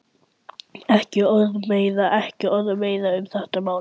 Ekki orð meira, ekki orð meira um þetta mál.